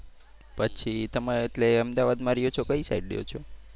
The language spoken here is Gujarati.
પછી તમારે એટલે અમદાવાદમાં રહયો છો કઈ સાઇડ રહયો છો?